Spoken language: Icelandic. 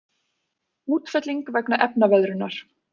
Útfelling vegna efnaveðrunar.